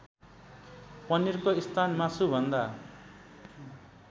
पनिरको स्थान मासुभन्दा